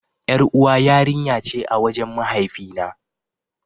Yar'uwa yarinya ce a wajen mahaifi na.